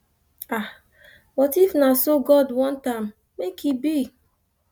but if na so god want am make im be